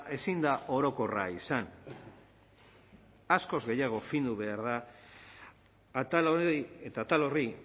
ezin da orokorra izan askoz gehiago findu behar da atal hori eta atal horri